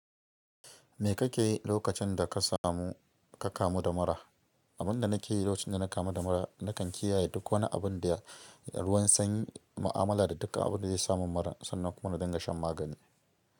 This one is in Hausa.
Me kake yi lokacin da ka samu, ka kamu da mura? Abin da nake yi lokacin da na kamu da mura, nakan kiyaye duk wani abin da ya ruwan sanyi, ma'amala da duka abin da zai sa mun mura sannan kuma na dinga shan magani.